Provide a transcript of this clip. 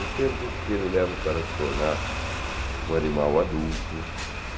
O tempo que ele leva para se tornar um animal adulto.